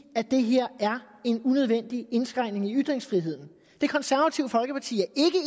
at det her er en unødvendig indskrænkning af ytringsfriheden det konservative folkeparti